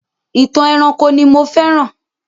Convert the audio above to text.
Ìtàn ẹranko ni mo féràn.